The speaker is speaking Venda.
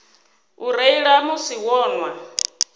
u reila musi vho nwa